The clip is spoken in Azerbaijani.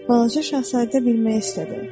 Balaca Şahzadə bilmək istədi.